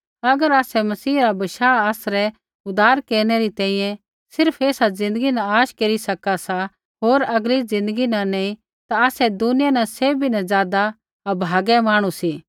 अगर आसै मसीह रा बशाह आसरै उद्धार केरनै री तैंईंयैं सिर्फ़ ऐसा ज़िन्दगी न आश केरी सका सी होर आगली ज़िन्दगी न नैंई ता आसै दुनिया न सैभी न ज़ादा अभागै मांहणु सी